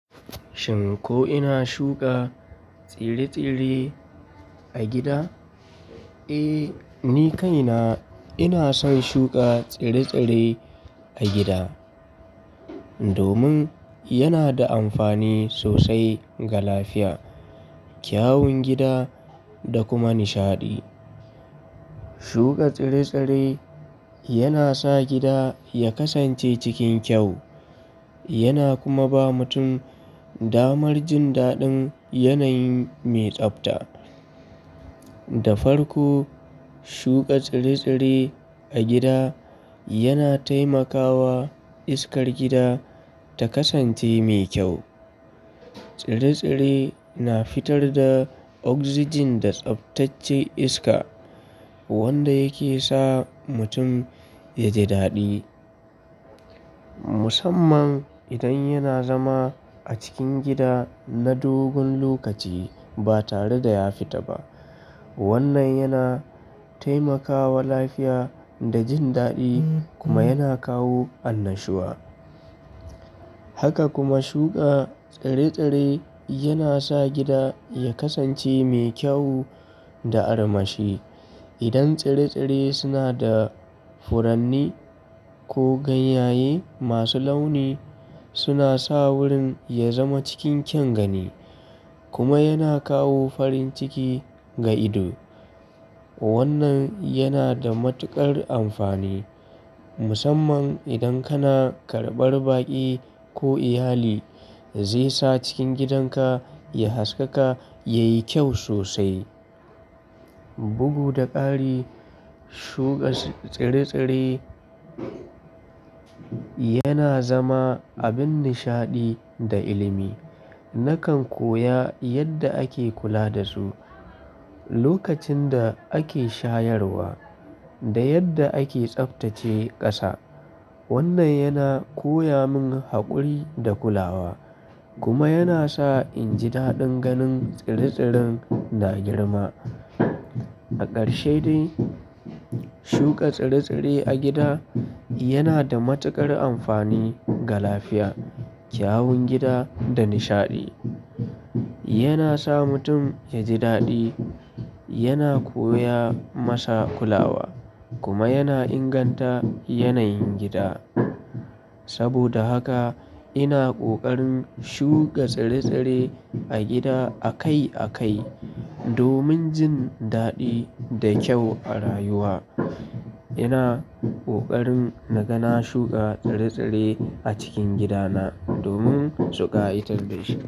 Shin ko ina shuka tsire-tsire a gida? Eh, ni kaina ina son shuka tsire-tsire a gida domin yana da amfani sosai ga lafiya, kyawun gida da kuma nishaɗi. Shuka tsire-tsire yana sa gida ya kasance cikin kyau yana kuma ba mutum damar jin daɗin yanayi mai tsabta. Da farko, shuka tsire-tsire a gida yana taimakawa iskar gida ta kasance mai kyau. Tsire-tsire na fitar da oxygen da tsaftace iska wanda yake sa mutum ya ji daɗi. Musamman idan yana zama a cikin gida na dogon lokaci ba tare da ya fita ba. Wannan yana taimakawa lafiya da jin daɗi kuma yana kawo annashuwa. Haka kuma shuka tsire-tsire yana sa gida ya kasance mai kyau da armashi. Idan tsire-tsire suna da furanni ko ganyaye masu launi suna sa wurin ya zama cikin kyan gani kuma yana kawo farin ciki ga ido. Wannan yana da matuƙar amfani musamman idan kana karɓar baƙi ko iyali zai sa cikin gidanka ya haskaka, yayi kyau sosai. Bugu da ƙari, shuka tsire-tsire yana zama abin nishaɗi da ilimi. Nakan koya yadda ake kula da su lokacin da ake shayarwa da yadda ake tsaftace ƙasa. Wannan yana koya mun haƙuri da kulawa kuma yana sa in ji daɗin ganin tsire-tsiren na girma. A ƙarshe dai, shuka tsire-tsire a gida yana da matuƙar amfani ga lafiya, kyawun gida da nishaɗi. Yana sa mutum ya ji daɗi, yana koya masa kulawa kuma yana inganta yanayin gida. Saboda haka ina ƙoƙarin shuka tsire-tsire a gida akai akai domin jin daɗi da kyau a rayuwa. Ina ƙoƙarin na ga na shuka tsire-tsire a cikin gidana domin suƙayatar da shi.